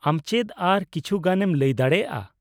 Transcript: ᱟᱢ ᱪᱮᱫ ᱟᱨ ᱠᱤᱪᱷᱩᱜᱟᱱᱮᱢ ᱞᱟᱹᱭ ᱫᱟᱲᱮᱭᱟᱜᱼᱟ ?